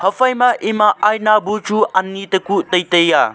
phai ma ema aina bu chu ani takuh tai a.